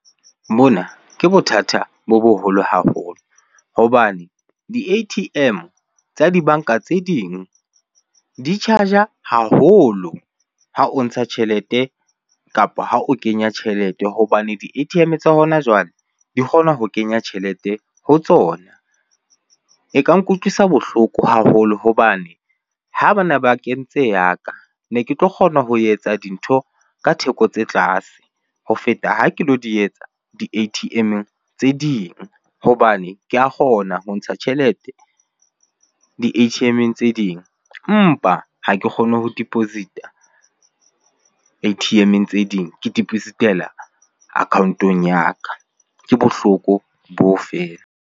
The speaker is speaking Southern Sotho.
Mona ke bothata bo boholo haholo hobane di-A_T_M tsa dibanka tse ding di charge-a haholo ha o ntsha tjhelete kapa ha o kenya tjhelete hobane di-A_T_M tsa hona jwale di kgona ho kenya tjhelete ho tsona. E ka nkutlwisa bohloko haholo hobane ha bana ba kentse ya ka, ne ke tlo kgona ho etsa dintho ka theko tse tlase ho feta ha ke lo di etsa di-A_T_M-eng tse ding. Hobane ke a kgona ho ntsha tjhelete di-A_T_M-eng tse ding empa ha ke kgone ho deposit-a A_T_M-eng tse ding ke deposit-ela account-ong ya ka. Ke bohloko boo feela.